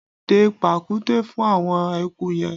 Dẹ pàkúté fún àwọn eku yẹn!